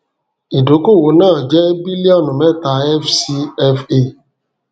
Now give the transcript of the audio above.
ìdókòwò náà jẹ bílíọnù mẹta fcfa